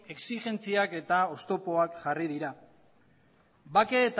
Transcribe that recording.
exigentziak eta oztopoak jarri dira bake